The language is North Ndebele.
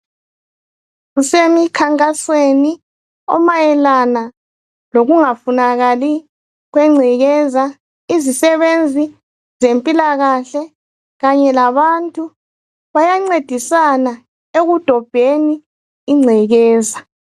Kusemikhankasweni omayelana lokungafunakali kwengcekeza izisebenzi ezempilakahle kanye labantu bayancedisana ekudobheni ingcekeza